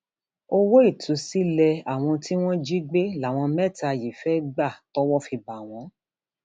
owó ìtúsílẹ àwọn tí wọn jí gbé láwọn mẹta yìí fẹẹ gbà tọwọ fi bá wọn